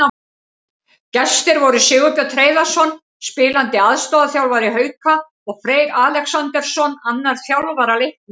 Gestir voru Sigurbjörn Hreiðarsson, spilandi aðstoðarþjálfari Hauka, og Freyr Alexandersson, annar þjálfara Leiknis.